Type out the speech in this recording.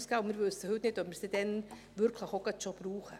Wir wissen heute nicht, ob wir es dann wirklich schon gleich brauchen.